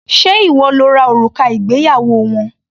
Ṣé ìwọ lo ra òrùka ìgbéyàwó wọn?